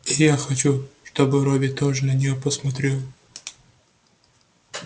и я хочу чтобы робби тоже на неё посмотрел